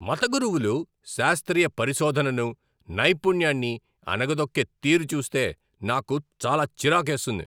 మత గురువులు శాస్త్రీయ పరిశోధనను, నైపుణ్యాన్ని అణగదొక్కే తీరు చూస్తే నాకు చాలా చిరాకేస్తుంది.